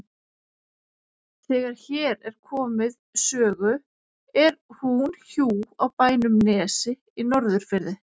Þegar hér er komið sögu er hún hjú á bænum Nesi í Norðurfirði.